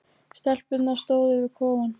Stelpurnar stóðu við kofann.